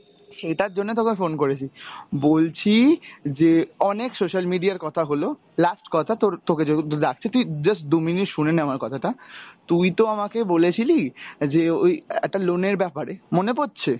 সেইটার জন্য তোকে phone করেছি, বলছি যে অনেক social media র কথা হল, last কথা তোর তোকে যেহেতু ডাকছে তুই just দু minute শুনে নে আমার কথাটা, তুই তো আমাকে বলেছিলি, যে ওই একটা loan এর ব্যাপারে, মনে পড়ছে?